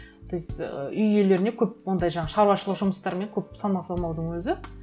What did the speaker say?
то есть і үй иелеріне көп ондай жаңағы шаруашылық жұмыстармен көп салмақ салмаудың өзі